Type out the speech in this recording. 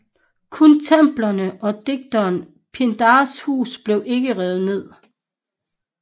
Kun templerne og digteren Pindars hus blev ikke revet ned